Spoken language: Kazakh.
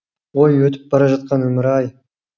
ой өтіп бара жатқан өмір ай